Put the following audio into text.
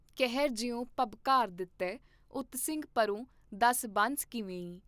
ਕੇਹਰਿ ਜਿਉਂ ਭਬਕਾਰ ਦਿਤੇ ਉਤ ਸਿੰਘ ਪਰੋਂ ਦਸ ਬੰਸ ਕਿਵੇਂਈ।